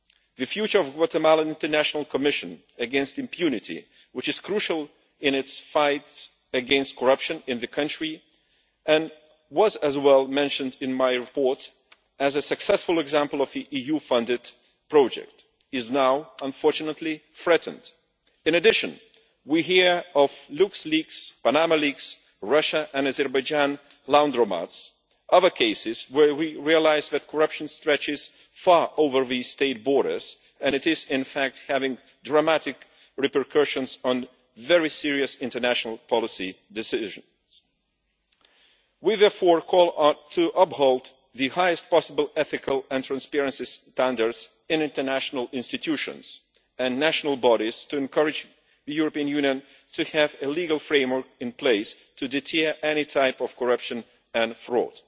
The future of the Guatemalan International Commission against Impunity, which is crucial in its fight against corruption in the country and was also mentioned in my report as a successful example of the EU funded project, is now unfortunately under threat. In addition, we hear of LuxLeaks, Panama leaks, Russia and Azerbaijan Laundromats and other cases where we realise that corruption stretches far beyond state borders and is in fact having dramatic repercussions on very serious international policy decisions. We therefore call for the highest possible ethical and transparency standards to be upheld in international institutions and national bodies in order to encourage the European Union to have a legal framework in place to deter any type of corruption or fraud.